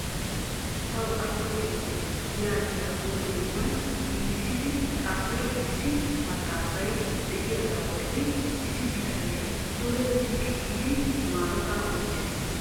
Ta atto giite yaagiya huuphe yohuwan giigissidi xaafido issi maxaafay de'iyaaga bolla issi bitanee duge ziqqi giidi maarota oychchees .